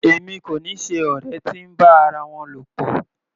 Èmi kò ni ṣe ọ̀rẹ́ tí ń bá ara wọn lọ̀pọ̀.